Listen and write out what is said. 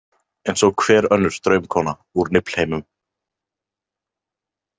Eins og hver önnur draumkona úr Niflheimum.